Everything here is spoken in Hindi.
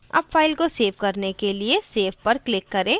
अब file को सेव करने के लिए save पर click करें